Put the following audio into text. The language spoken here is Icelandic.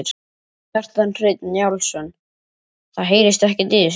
Kjartan Hreinn Njálsson: Það heyrist ekkert í þessu?